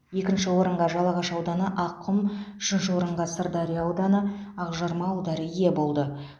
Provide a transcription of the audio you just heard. екінші орынға жалағаш ауданы аққұм үшінші орынға сырдария ауданы ақжарма ауылдары ие болды